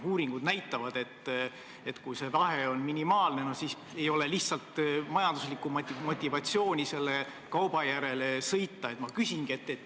Uuringud näitavad, et kui see vahe on minimaalne, siis ei ole lihtsalt majanduslikku motivatsiooni selle kauba järele sõita.